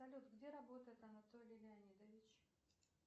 салют где работает анатолий леонидович